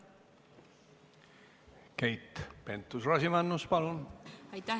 Keit Pentus-Rosimannus, palun!